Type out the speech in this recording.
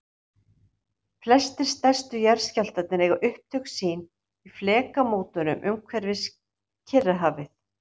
flestir stærstu jarðskjálftarnir eiga upptök sín á flekamótum umhverfis kyrrahafið